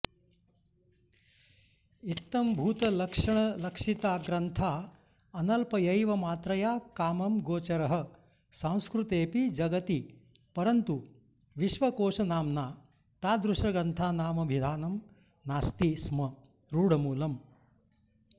इत्थंभूतलक्षणलक्षिता ग्रन्था अनल्पयैव मात्रया कामं गोचरः सांस्कृतेऽपि जगति परन्तु विश्वकोशनाम्ना तादृशग्रन्थानामभिधानं नास्ति स्म रुढमूलम्